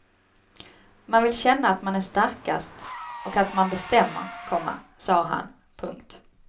Man vill känna att man är starkast och att man bestämmer, komma sa han. punkt